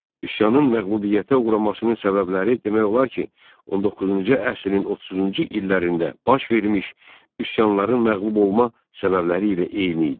Üsyanın məğlubiyyətə uğramasının səbəbləri demək olar ki, 19-cu əsrin 30-cu illərində baş vermiş üsyanların məğlub olma səbəbləri ilə eyni idi.